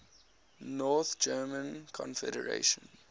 north german confederation